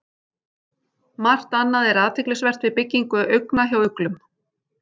Margt annað er athyglisvert við byggingu augna hjá uglum.